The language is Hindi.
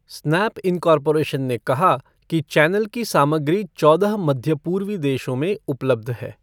स्नैप इन्कॉर्पोरेशन ने कहा कि चैनल की सामग्री चौदह मध्य पूर्वी देशों में उपलब्ध है।